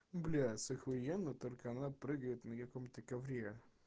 блять ахуенно только она прыгает на каком-то ковре